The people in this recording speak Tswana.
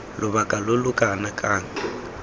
lobaka lo lo kana kang